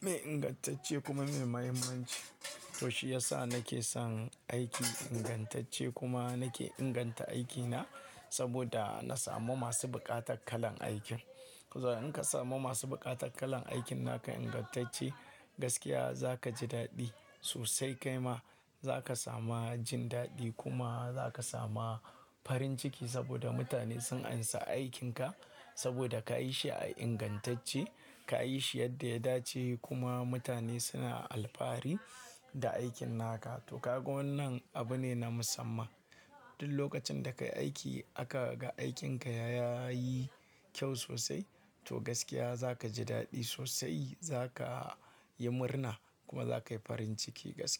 mai ingantacce kuma mai mahimmanci. To shi yasa nake son aiki ingantacce kuma nake inganta aikina saboda na samu masu buƙatar kalan aikin. Kaza in ka samu masu buƙatar kalan aikin naka ingantacce gaskiya za ka ji daɗi sosai kai ma za ka sama jin daɗi kuma za ka sama farin ciki saboda mutane sun amsa aikinka saboda ka yi shi a ingantacce, ka yi shi yadda ya dace kuma mutane suna alfahari da aikin naka. To ka ga wannan abu ne na musamman. Duk lokacin da ka yi aiki aka ga aikinka ya, ya yi kyau sosai to gaskiya za ka ji daɗi sosai, za ka yi murna kuma za ka yi farin ciki gaskiya.